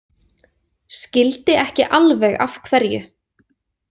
Skildi ekki alveg af hverju.